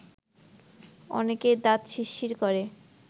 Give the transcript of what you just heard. অনেকের দাঁত শিরশির করে